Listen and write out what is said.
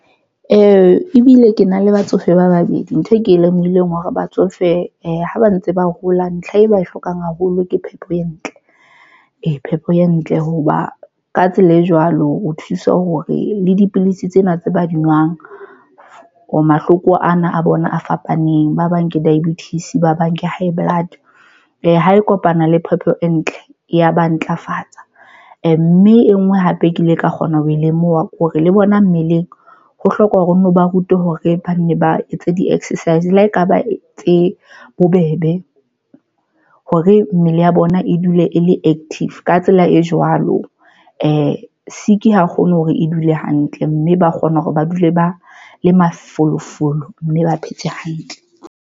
E bile ke na le batsofe ba babedi. Ntho e ke lemohileng hore batsofe ha ba ntse ba hola. Ntlha e ba e hlokang haholo ke phepo e ntle phepo e ntle hoba ka tsela e jwalo, o thuse hore le dipilisi tsena tse ba di nwang o mahloko ana a bona a fapaneng. Ba bang ke diabetes, ba bang ke high blood e ha e kopana le phepo e ntle ya ba ntlafatsa mme e nngwe hape ke ile ka kgona ho lemoha kore le bona mmeleng ho hloka hore o nno ba rutwe hore ba nne ba etse di-exercise le ha ekaba tse bobebe hore mmele ya bona e dule e le active ka tsela e jwalo, sick ha kgone hore e dule hantle mme ba kgona hore ba dule ba le mafolofolo mme ba phetse hantle.